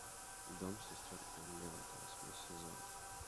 дом сестер эллиотт восьмой сезон